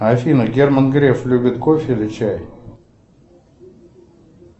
афина герман греф любит кофе или чай